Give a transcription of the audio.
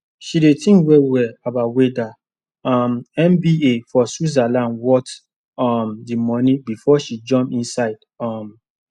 she dey think well well about wether um mba for switzerland worth um the money before she jump inside um